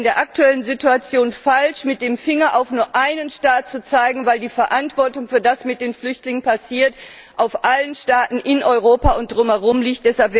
Es wäre in der aktuellen Situation falsch, mit dem Finger auf nur einen Staat zu zeigen, weil die Verantwortung für das, was mit den Flüchtlingen passiert, auf allen Staaten in Europa und darum herum liegt.